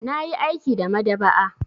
Na yi aiki a maɗaba'a.